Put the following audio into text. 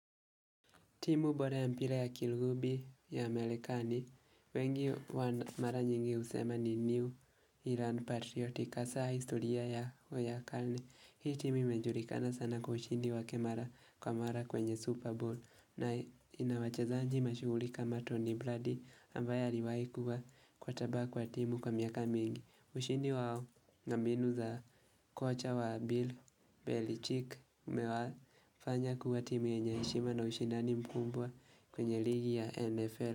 Timu bora ya mpira ya kilugubi ya marekani, wengi wa mara nyingi husema ni New Iran Patriotic, hasa historia ya Uyakani. Hii timu imejulikana sana kwa ushindi wake mara kwa mara kwenye Super Bowl, na inawachezanji mashuhuri kama Tony Brady ambaye aliwahikuwa quater back kwa timu kwa miaka mingi. Ushindi wao na mbinu za kocha wa Bill Belichick Umewafanya kuwa timu yenye heshima na ushindani mkumbwa kwenye ligi ya NFL.